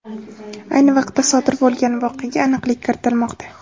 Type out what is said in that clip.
Ayni vaqtda, sodir bo‘lgan voqeaga aniqlik kiritilmoqda.